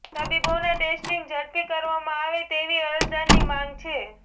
તબીબોના testing ઝડપી કરવામાં આવે તેવી અરજદારની માંગ છે